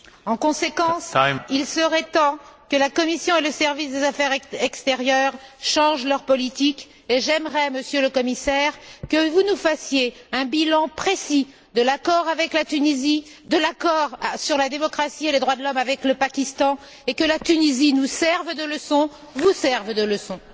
En conséquence, il serait temps que la Commission et le service des affaires extérieures changent leur politique et j'aimerais, Monsieur le Commissaire, que vous nous fassiez un bilan précis de l'accord avec la Tunisie, de l'accord sur la démocratie et les droits de l'homme avec le Pakistan et que la Tunisie nous serve de leçon, vous serve de leçon.